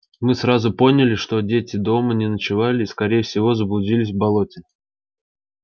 мы сразу поняли что дети дома не ночевали и скорее всего заблудились в болоте